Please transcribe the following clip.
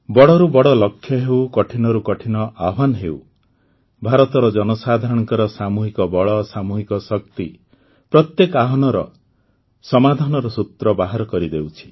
ବଡ଼ରୁ ବଡ଼ ଲକ୍ଷ୍ୟ ହେଉ କଠିନରୁ କଠିନ ଆହ୍ୱାନ ହେଉ ଭାରତର ଜନସାଧାରଣଙ୍କ ସାମୂହିକ ବଳ ସାମୂହିକ ଶକ୍ତି ପ୍ରତ୍ୟେକ ଆହ୍ୱାନର ସମାଧାନର ସୂତ୍ର ବାହାର କରିଦେଉଛି